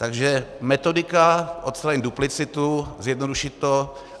Takže metodika, odstranit duplicitu, zjednodušit to.